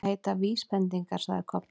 Það heita VÍSbendingar, sagði Kobbi.